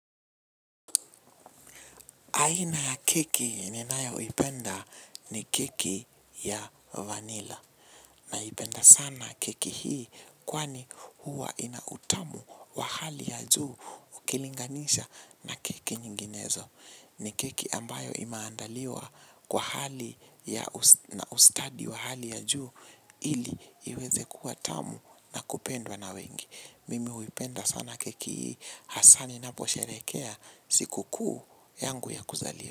Aina ya keki ninayoipenda ni keki ya vanila. Naipenda sana keki hii kwani huwa inautamu wa hali ya juu ukilinganisha na keki nyinginezo. Ni keki ambayo imaandaliwa kwa hali na ustadi wa hali ya juu ili iweze kua tamu na kupendwa na wengi. Mimi huipenda sana keki ii hasaa ninaposherekea siku kuu yangu ya kuzaliwa.